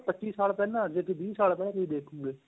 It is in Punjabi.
ਪੱਚੀ ਸਾਲ ਪਹਿਲਾਂ ਜ਼ੇ ਵੀਹ ਸਾਲ ਪਹਿਲਾਂ ਤੁਸੀਂ ਦੇਖੋ ਗਏ